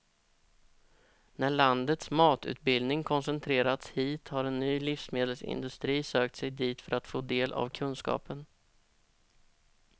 När landets matutbildning koncentrerats hit har en ny livsmedelsindustri sökt sig dit för att få del av kunskapen.